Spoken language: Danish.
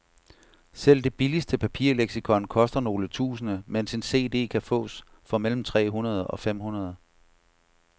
Selv det billigste papirleksikon koster nogle tusinde, mens en cd kan fås for mellem tre hundrede og fem hundrede.